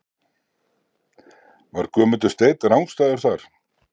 Var Guðmundur Steinn rangstæður þar?